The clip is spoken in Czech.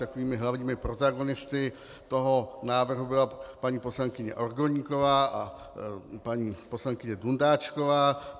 Takovými hlavními protagonisty toho návrhu byla paní poslankyně Orgoníková a paní poslankyně Dundáčková.